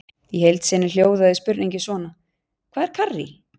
Í heild sinni hljóðaði spurningin svona: Hvað er karrí?